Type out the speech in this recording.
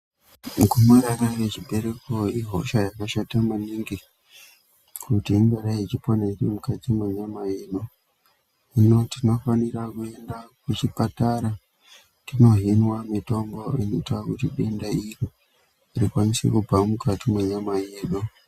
Gomarara rechibereko ihosha yakashata maningi kuti ingadai ichipona iri munayama yedu hino tinofanira kuenda kuchipatara tino hinwa mitombo inoita kutu denda iro rikwanise kubva mukati mwenyama yedu.